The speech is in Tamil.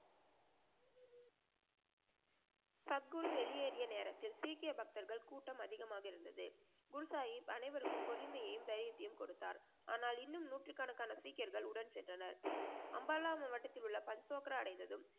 சத்குரு வெளியேறிய நேரத்தில் சீக்கிய பக்தர்கள் கூட்டம் அதிகமாக இருந்தது. குருசாஹிப் அனைவருக்கும் பொறுமையையும் தைரியத்தையும் கொடுத்தார். ஆனால் இன்னும் நூற்றுகனக்கான சீக்கியர்கள் உடன் சென்றனர். அம்பாலா மாவட்டத்தில் உள்ள பல்சொக்ரா அடைந்ததும்